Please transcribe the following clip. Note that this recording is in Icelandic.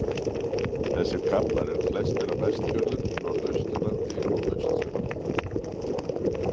Þessir kaflar eru flestir á Vestfjörðum, Norðausturlandi og Austfjörðum.